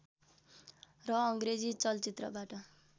र अङ्ग्रेजी चलचित्रबाट